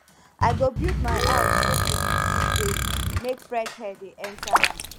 i go build my house were plenty tree dey make fresh air dey enta am